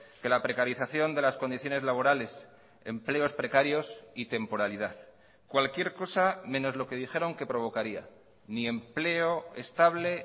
que la precarización de las condiciones laborales empleos precarios y temporalidad cualquier cosa menos lo que dijeron que provocaría ni empleo estable